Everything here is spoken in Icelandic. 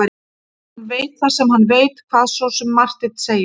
Hann veit það sem hann veit, hvað svo sem Marteinn segir.